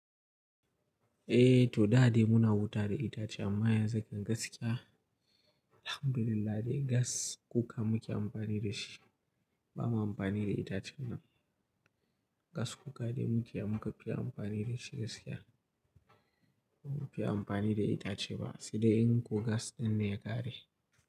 Eh, to da dai muna wuta da itace amma yanzu gaskiya, Alhamdulillah dai gas kuka muke amfani da shi. Ba mu amfani da itacen ba. Gas kuka dai muke muka fi amfani da shi gaskiya. Ba mu faye amfani da itace ba. Sai dai in ko gas ɗin ne ya ƙare.